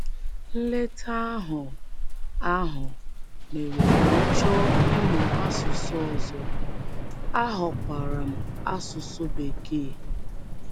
Nleta ahụ ahụ mere ka m chọọ ịmụ asụsụ ọzọ, ahọkwaara m asụsụ Bekee.